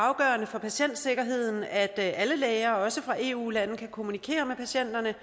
afgørende for patientsikkerheden at alle læger også fra eu lande kan kommunikere med patienterne